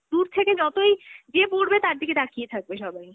দূর থেকে যতই, যে পরবে তার দিকে তাকিয়ে থাকবে সবাই,